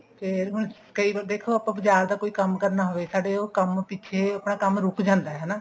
ਫ਼ੇਰ ਹੁਣ ਕਈ ਬੰਦੇ ਦੇਖੋ ਹੁਣ ਬਜਾਰ ਦਾ ਆਪਾਂ ਕੋਈ ਕੰਮ ਕਰਨਾ ਹੋਵੇ ਸਾਡੇ ਉਹ ਕੰਮ ਪਿੱਛੇ ਆਪਣਾ ਕੰਮ ਰੁਕ ਜਾਂਦਾ ਹਨਾ